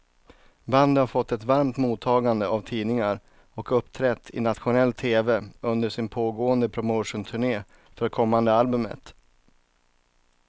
Bandet har fått ett varmt mottagande av tidningar och uppträtt i nationell tv under sin pågående promotionturné för kommande albumet.